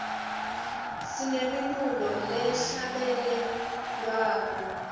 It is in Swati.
sinemilulo lehla bele lwako